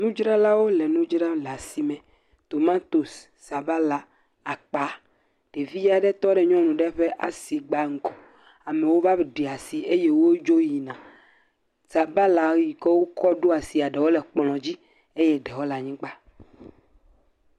Nudzralawo le nudzram le asi me. Tomatosi, sabala, akpa. Ɖevi aɖe tɔ ɖe nyɔnu aɖe ƒe asigba ŋgɔ. Sabala yi ke wokɔ ɖo asia ɖewo le kplɔ dzi eye ɖewo le anyigba.